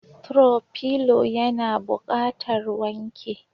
"throw pillow" yana buƙatar wanke.